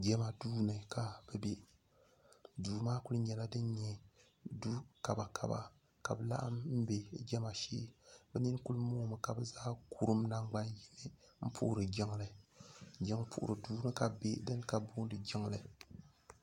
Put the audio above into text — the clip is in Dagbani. jama duu ni ka bɛ be duu maa kuli nyɛla din nyɛ du' kabakaba ka bɛ laɣim m-be jama shee bɛ nini kuli moomi ka bɛ zaa kurum nangbanyini m-puhiri jiŋli jiŋpuhiri duu ni ka bɛ be dini ka bɛ booni jiŋli